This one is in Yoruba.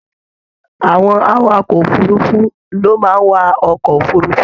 Àwọn awakọ òfurùnfu ló máa n wà ọkọ òfurùnfu.